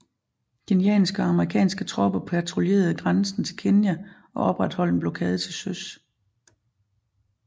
Kenyanske og amerikanske tropper patruljerede grænsen til Kenya og opretholdt en blokade til søs